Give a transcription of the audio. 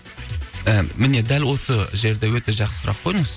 і міне дәл осы жерде өте жақсы сұрақ қойдыңыз